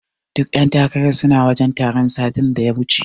Duka ƴan takarar suna wajen taron satin da ya wuce.